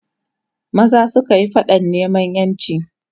maza sukayi faɗan neman ƴanci